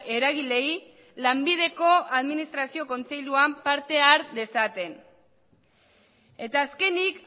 eragileei lanbideko administrazio kontseiluan parte har dezaten eta azkenik